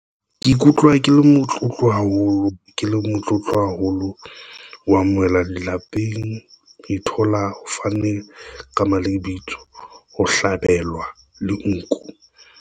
Ke ikutlwa ke le motlotlo haholo ke le motlotlo haholo, wa amohelwa lelapeng ithola ho fane ka lebitso, ho hlabelwa le nku.